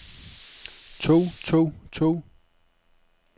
tog tog tog